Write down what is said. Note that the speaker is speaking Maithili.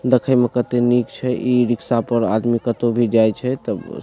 देखे मे केते निक छै इ रिक्शा पर आदमी केतो भी जाय छै ते --